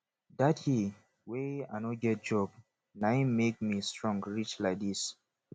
that year wey i no get job na him make me strong reach like this